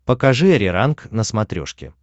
покажи ариранг на смотрешке